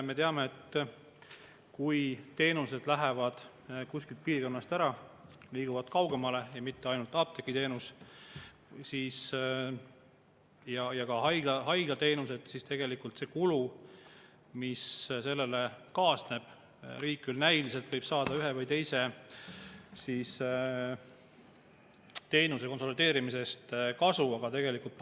Me teame, et kui teenused lähevad kuskilt piirkonnast ära, liiguvad kaugemale – ja mitte ainult apteegiteenus, vaid ka haiglateenus –, siis kuigi riik näiliselt võib saada ühe või teise teenuse konsolideerimisest kasu, tegelikult see kulu, mis sellega kaasneb, pannakse ju inimeste, kes seda tarbivad.